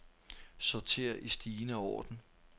Sorter i stigende orden.